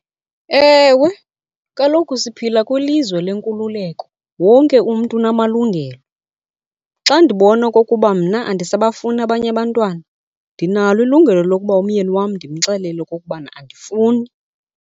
Ewe, kaloku siphila kwilizwe lenkululeko wonke umntu unamalungelo. Xa ndibona okokuba mna andisabafuni abanye abantwana ndinalo ilungelo lokuba umyeni wam ndimxelele okokubana andifuni.